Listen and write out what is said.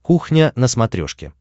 кухня на смотрешке